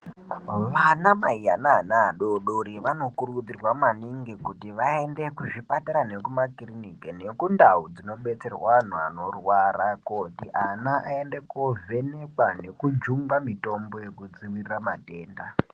Vanamai ane ana adodori vanokurudzirwa maningi kuti vaende kuzvipatara nekumakirinika nekundau dzinobetserwa antu anorwara kuti ana aende kovhenekwa nekujungwa mitombo yekudziirira matenda.